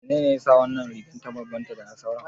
Me yasa wannan rigar ta bambanta da sauran?